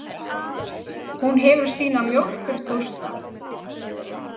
Hún hefur sína mjólkurpósta.